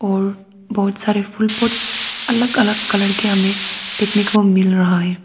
और बहुत सारे फुल पॉट अलग अलग कलर के हमे देखने को मिल रहा है।